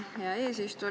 Hea eesistuja!